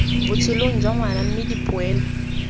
botshelong jwa ngwana mme dipoelo